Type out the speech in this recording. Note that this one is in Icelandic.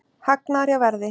Hagnaður hjá Verði